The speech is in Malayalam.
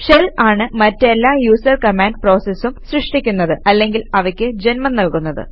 ഷെൽ ആണ് മറ്റെല്ലാ യൂസർ കമാൻഡ് പ്രോസസസും സൃഷ്ടിക്കുന്നത് അല്ലെങ്കിൽ അവയ്ക്ക് ജന്മം നല്കുന്നത്